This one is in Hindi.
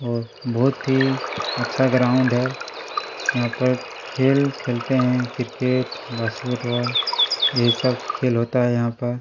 और बहुत ही अच्छा ग्राउंड है यहाँ पर खेल खेलते है क्रिकेट बास्केट बॉल ये सब खेल होता है यहाँ पर--